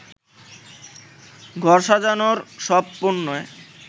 ঘর সাজানোর সব পণ্যে